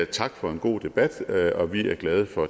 tak for en god debat og vi er glade for